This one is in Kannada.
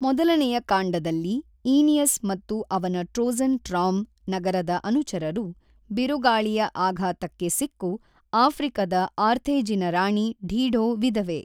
ಮೊದಲನೆಯ ಕಾಂಡದಲ್ಲಿ ಈನಿಯಸ್ ಮತ್ತು ಅವನ ಟ್ರೋಜನ್ ಟ್ರಾಮ್ ನಗರದ ಅನುಚರರು ಬಿರುಗಾಳಿಯ ಆಘಾತಕ್ಕೆ ಸಿಕ್ಕು ಆಫ್ರಿಕದ ಆರ್ಥೇಜಿನ ರಾಣಿ ಡೀಢೊ ವಿಧವೆ.